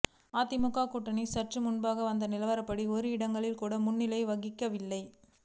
அதிமுக கூட்டணி சற்று முன்பாக வந்த நிலவரப்படி ஒரு இடங்களில் கூட முன்னிலை வகிக்கவில்லை